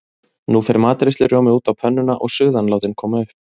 Nú fer matreiðslurjómi út á pönnuna og suðan látin koma upp.